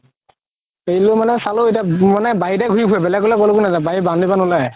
চালো এতিয়া মানে বাৰিতে ঘুৰি ফুৰে বেলেগ বেলেগকো নাজাই boundary পৰা নোলাই